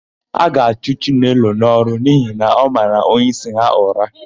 A ga-achụ Chinelo n'ọrụ n'ihi na ọ mara onyeisi ha ụra.